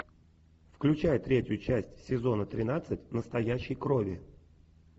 включай третью часть сезона тринадцать настоящей крови